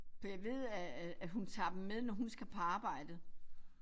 For jeg ved at at at hun tager dem med når hun skal på arbejde